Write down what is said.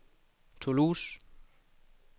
Toulouse